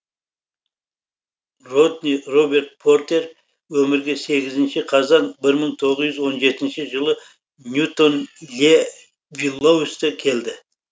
родни роберт портер өмірге сегізінші қазан бір мың тоғыз жүз он жетінші жылы ньютон ле виллоусте келді